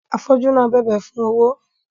Afọju náà bẹbẹ fún owó